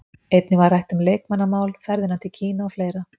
Einnig var rætt um leikmannamál, ferðina til Kína og fleira.